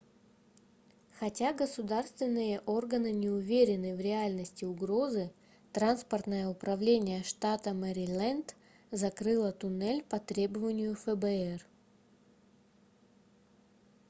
хотя государственные органы не уверены в реальности угрозы транспортное управление штата мэриленд закрыло туннель по требованию фбр